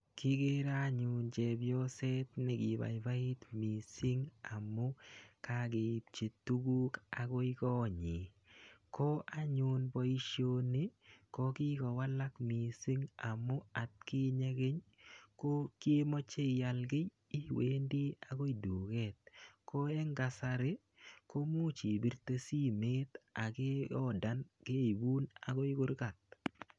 Kikere anyun chepyoset ne kibaibait missing amu, kakeipchi tuguk akoi kot nyii. Ko anyun boisoni ko kikowalak missing amu atkinye keny, ko kimache ial kiy iwendo akoi duket. Ko eng kasari, komuch ipirte simet akiodan, keibun akoi kurgat.